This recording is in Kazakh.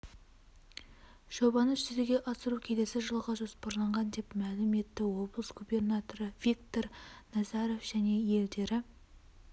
жобаны жүзеге асыру келесі жылға жоспарланған деп мәлім етті облыс губернаторы виктор назаров және елдері